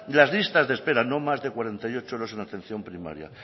las listas de espera no más de cuarenta y ocho horas en la atención primaria